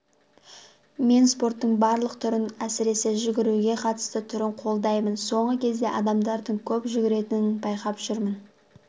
мен спорттың барлық түрін әсіресе жүгіруге қатысты түрін қолдаймын соңғы кезде адамдардың көп жүгіретінін байқап жүрмін